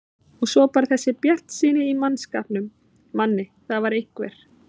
Já og svo bara þessi bjartsýni í mannskapnum, Manni, það var einhver